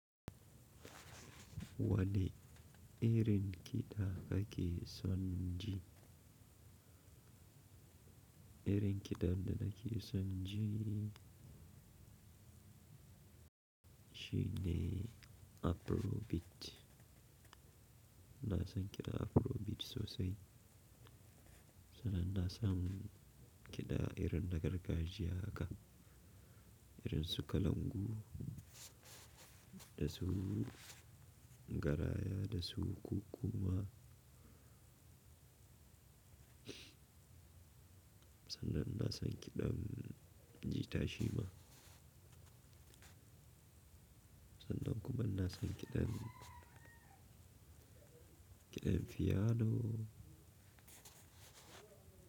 Wane irin kiɗa kaka ke son ji, irin kiɗan da nake son ji shine Afrobeat. iNa san kiɗa Afrobeat sosai, sannan na san kiɗa irin na gargajiya haka, irin su kalangu da su garaya da su kuku ma. Sannan ina san kiɗan jita shi ma. Sannan kuma ina san kiɗen, kiɗan fiyano.